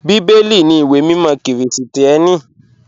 Bíbẹ́lì ní ìwé mímọ̀ Kírísítíánì.